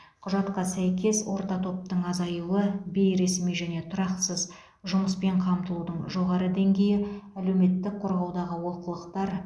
құжатқа сәйкес орта топтың азайуы бейресми және тұрақсыз жұмыспен қамтылудың жоғары деңгейі әлеуметтік қорғаудағы олқылықтар